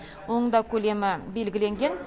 оның да көлемі белгіленген